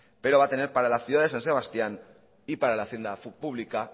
pero va a tener para la ciudad de san sebastián y para la hacienda pública